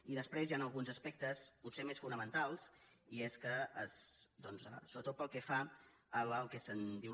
i després hi han alguns aspectes potser més fonamentals i és que sobretot pel que fa al que se’n diu